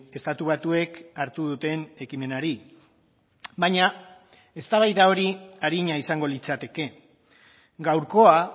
estatu batuek hartu duten ekimenari baina eztabaida hori arina izango litzateke gaurkoa